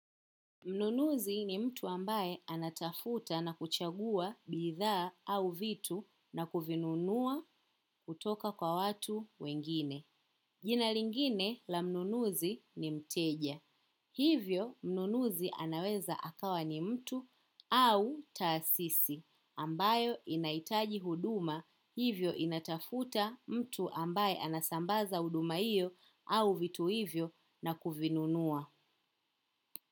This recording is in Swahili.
Mnunuzi ni mtu ambaye anatafuta na kuchagua bithaa au vitu na kuvinunua kutoka kwa watu wengine. Jina lingine la mnunuzi ni mteja. Hivyo mnunuzi anaweza akawa ni mtu au taasisi ambayo inahitaji huduma hivyo inatafuta mtu ambaye anasambaza huduma hiyo au vitu hivyo na kuvinunua.